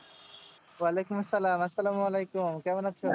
ওয়ালাইকুম আসসালাম আসসালাম ওয়ালাইকুম কেমন আছো?